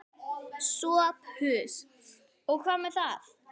SOPHUS: Og hvað með það?